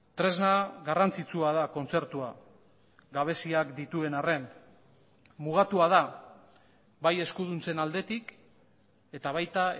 tresna garrantzitsua da kontzertua gabeziak dituen arren mugatua da bai eskuduntzen aldetik eta baita